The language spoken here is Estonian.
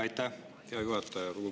Aitäh, hea juhataja!